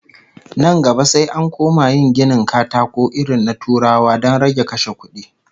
Nan gaba sai an koma yin ginin katakon irin na Turawa don rage kashe kudi